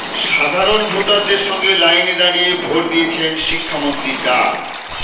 সাধারণ ভোটারদের সঙ্গে লাইনে দাঁড়িয়ে ভোট দিয়েছেন শিক্ষামন্ত্রী ডা